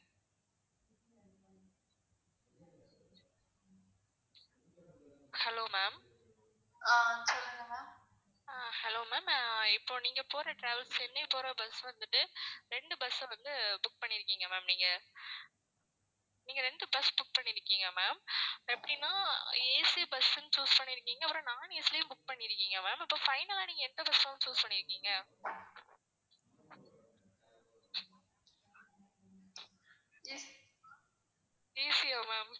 AC ஆ maam